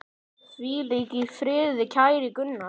Hvíl í friði, kæri Gunnar.